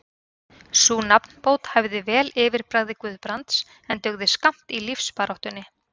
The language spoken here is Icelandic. Sú nafnbót hæfði vel yfirbragði Guðbrands, en dugði skammt í lífsbaráttunni.